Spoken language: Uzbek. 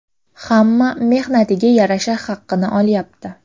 Hamma mehnatiga yarasha haqqini olyapti.